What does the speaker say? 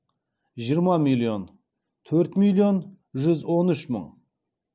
жиырма миллион төрт миллион жүз он үш мың